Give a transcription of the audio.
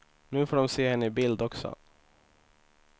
Nu får de se henne i bild också.